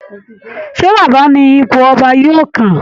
Ṣé Baba ni ipò ọba yóò kàn?